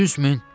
100 min.